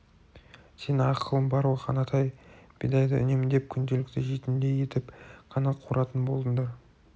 сенің ақылың бар ғой қанатай бидайды үнемдеп күнделікті жейтіндей етіп қана қуыратын болыңдар